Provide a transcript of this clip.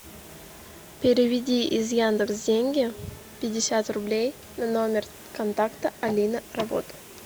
переведи из яндекс деньги пятьдесят рублей на номер контакта алина работа